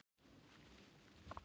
Síðan var hringt í pabba og mömmu.